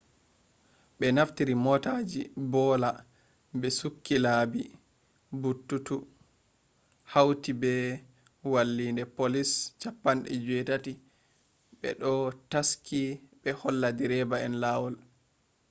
be naftiri motaaji boola be sukki laabi buutuutu hauti be walliinde poliis 80 be do taski ɓe holla direba en laawol